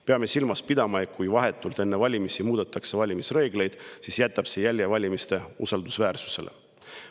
Peame silmas pidama, et kui vahetult enne valimisi muudetakse valimisreegleid, siis jätab see jälje valimiste usaldusväärsusele.